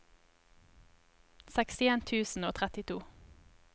sekstien tusen og trettito